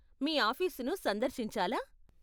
మీ ఆఫీసును సందర్శించాలా?